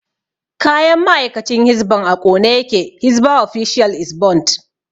Kayan ma'aikacin hisban a ƙone yake hisba official is burnt